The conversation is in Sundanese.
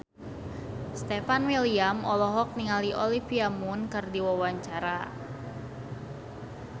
Stefan William olohok ningali Olivia Munn keur diwawancara